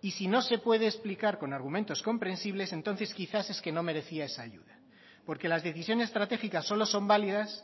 si no se puede explicar con argumentos comprensibles entonces quizá es que no merecía esa ayuda porque las decisiones estratégicas solo son validas